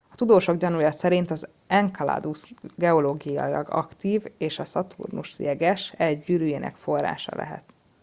a tudósok gyanúja szerint az enceladus geológiailag aktív és a szaturnusz jeges e gyűrűjének forrása lehet